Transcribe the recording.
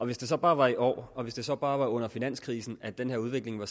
hvis det så bare var i år og hvis det så bare var under finanskrisen at den her udvikling var